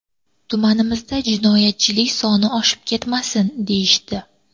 Tumanimizda jinoyatchilik soni oshib ketmasin”, deyishdi.